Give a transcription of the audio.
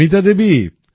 Sunita Devi